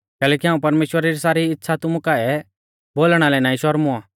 कैलैकि हाऊं परमेश्‍वरा री सारी इच़्छ़ा तुमु काऐ बोलणा लै नाईं शरमुऔ